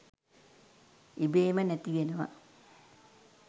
ඉබේම නැතිවෙනවා.